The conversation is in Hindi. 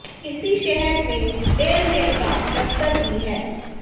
इसी शहर में डेल मेल का दफ्तर भी है